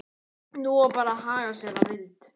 Nú var bara að haga sér að vild.